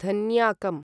धन्याकम्